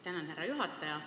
Tänan, härra juhataja!